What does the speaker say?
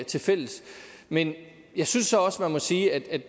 tilfælles men jeg synes så også man må sige at